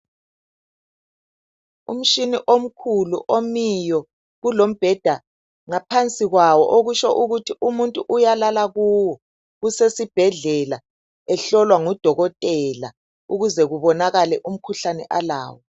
Umshini omkhulu omiyo kulombheda ngaphansi kwawo okutsho ukuthi umuntu uyalala kuwo usesibhedlela ehlolwa ngudokotela ukuze kubonakale umkhuhlane alawo.